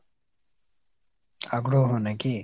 আগ্রহ নাকি ?